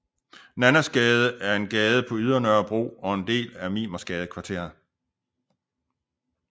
Nannasgade er en gade på Ydre Nørrebro og en del af Mimersgadekvarteret